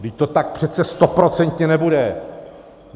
Vždyť to tak přece stoprocentně nebude!